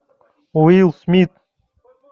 уилл смит